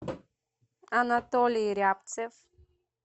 анатолий рябцев